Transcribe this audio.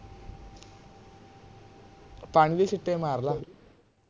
ਪਾਣੀ ਦੇ ਛਿੱਟੇ ਮਾਰ ਲੈ